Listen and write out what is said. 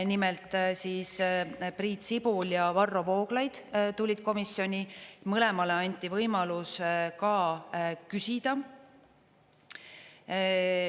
Nimelt Priit Sibul ja Varro Vooglaid tulid komisjoni, mõlemale anti võimalus ka küsida.